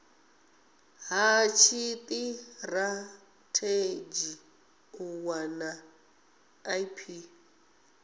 ha tshitirathedzhi u wana ip